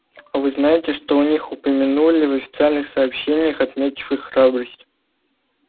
а вы знаете что о них упомянули в официальных сообщениях отметив их храбрость